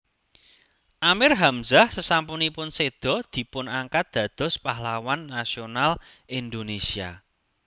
Amir Hanzah sesampunipun sèda dipunangkat dados Pahlawan Nasional Indonésia